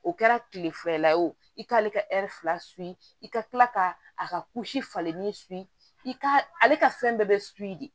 O kɛra kile fila ye o i k'ale ka fila i ka kila ka a ka kusi falen ni i ka ale ka fɛn bɛɛ de